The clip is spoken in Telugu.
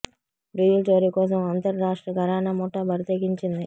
డీజిల్ చోరీ కోసం ఓ అంతర్రాష్ట్ర ఘరానా ముఠా బరి తెగించింది